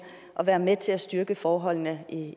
at være med til at styrke forholdene